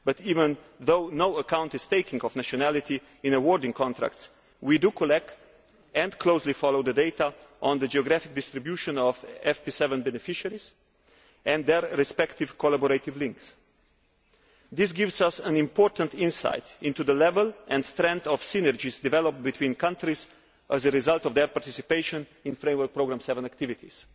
But even though no account is taken of nationality in awarding contracts, we do collect and closely follow the data on the geographic distribution of FP7 beneficiaries and their respective collaborative links. This gives us an important insight into the level and strength of synergies developed between countries as a result of their participation in FP7 activities.